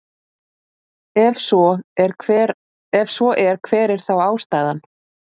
Ef svo er hver er þá ástæðan?